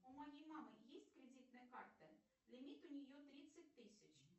у моей мамы есть кредитная карта лимит у нее тридцать тысяч